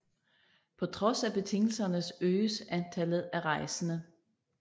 På trods af betingelserne øges antallet af rejsende